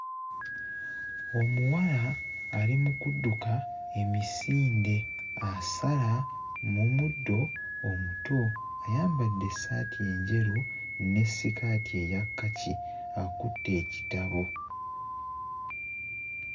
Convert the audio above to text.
Omuwala ali mu kudduka emisinde asala mu muddo omuto. Ayambadde essaati enjeru ne ssikaati eya kkaki akutte ekitabo.